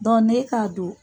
n'e ka don